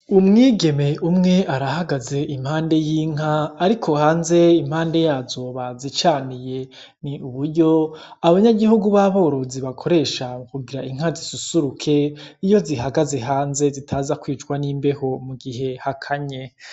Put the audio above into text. Umwigeme umwe arahagaze impande y’inka, ariko hanze impande yazo bazicaniye. Ni uburyo abanyagihugu b’aborozi bakoresha kugira inka zisusuruke iyo zihagaze hanze zitaza kwicwa n’imbeho mu gihe hakanye.